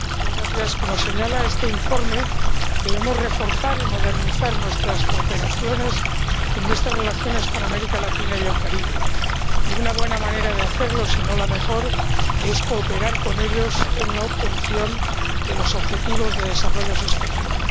Señor presidente, como señala este informe, debemos reforzar y modernizar nuestras cooperaciones y nuestras relaciones con América Latina y el Caribe, y una buena manera de hacerlo —si no la mejor— es cooperar con ellos en la obtención de los objetivos de desarrollo sostenible.